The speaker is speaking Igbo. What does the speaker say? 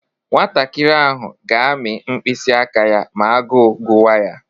Nwantakịrị ahụ ga-amị mkpịsị aka ya ma agụụ guwa ya.